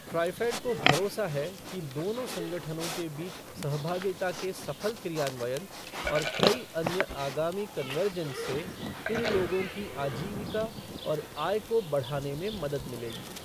ट्राईफ़ेड को भरोसा है कि दोनों संगठनों के बीच सहभाहगिता के सफल क्रियान्वयन और कई अन्य आगामी कन्वर्जेंस से इन लोगों की आजीविका और आय को बढ़ाने में मदद मिलेगी।